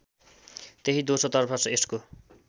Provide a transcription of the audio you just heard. त्यही दोस्रोतर्फ यसको